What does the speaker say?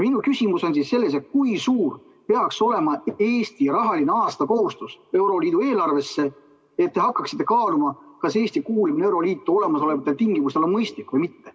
Minu küsimus on selles, et kui suur peaks olema Eesti rahaline kohustus aastas euroliidu eelarvesse, et te hakkaksite kaaluma, kas Eesti kuulumine euroliitu olemasolevatel tingimustel on mõistlik või mitte.